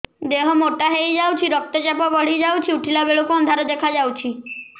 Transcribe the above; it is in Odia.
ଦେହ ମୋଟା ହେଇଯାଉଛି ରକ୍ତ ଚାପ ବଢ଼ି ଯାଉଛି ଉଠିଲା ବେଳକୁ ଅନ୍ଧାର ଦେଖା ଯାଉଛି